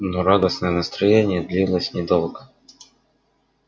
но радостное настроение длилось недолго